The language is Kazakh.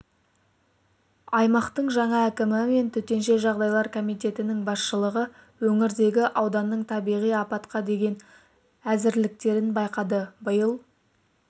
аймақтың жаңа әкімі мен төтенше жағдайлар комитетінің басшылығы өңірдегі ауданның табиғи апатқа деген әзірліктерін байқады биыл